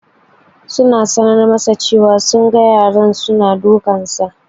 Suna sanar masa cewa su na ganin yaran su na dukansa